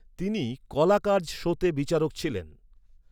তিনি 'কলাকারজ' শোতে বিচারক ছিলেন।